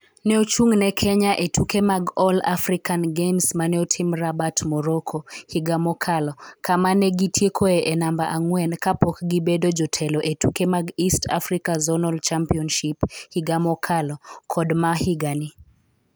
Ne ochung' ne Kenya e tuke mag All African Games ma ne otim Rabat, Morocco, higa mokalo kama ne gitiekoe e namba ang'wen kapok gibedo jotelo e tuke mag East Africa Zonal Championship higa mokalo kod ma higani.